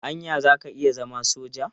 Anya za ka iya zama soja?